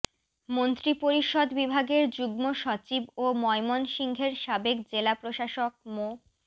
মন্ত্রিপরিষদ বিভাগের যুগ্ম সচিব ও ময়মনসিংহের সাবেক জেলা প্রশাসক মো